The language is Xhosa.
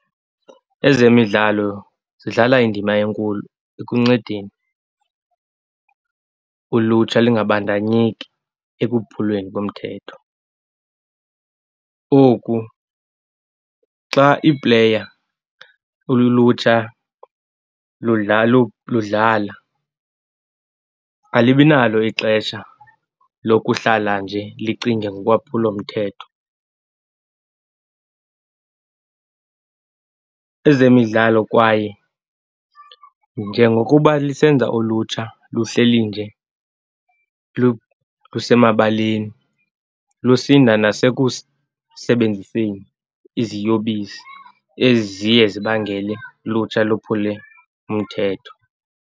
Ezemidlalo zidlala indima enkulu ekuncedeni ulutsha lingabandanyeki ekuphulweni komthetho. Oku xa ii-player, ulutsha ludlala alibi nalo ixesha lokuhlala nje licinge ngolwaphulomthetho. Ezemidlalo kwaye njengokuba lisenza ulutsha luhleli nje lusemabaleni, lusinda nasekusebenziseni iziyobisi eziye zibangele lutsha luphule umthetho.